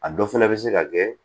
A dɔ fana bɛ se ka kɛ